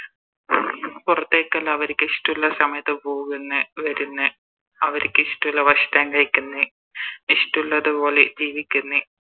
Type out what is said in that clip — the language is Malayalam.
പുറത്തേക്കെല്ലോ അവരിക്ക് ഇഷ്ടള്ള സമയത്ത് പോകുന്ന് വെരുന്ന് അവരിക്ക് ഇഷ്ട്ടള്ള ഭക്ഷണം കഴിക്കുന്ന് ഇഷ്ടള്ളത് പോലെ ജീവിക്ക്ന്ന്